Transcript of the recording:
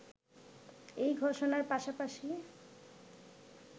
এই ঘোষণার পাশাপাশি